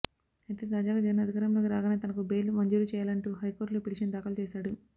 అయితే తాజాగా జగన్ అధికారంలోకి రాగానే తనకు బెయిల్ మంజూరు చేయాలంటూ హైకోర్టులో పిటీషన్ దాకలు చేశాడు